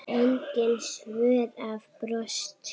Engin svör hafa borist.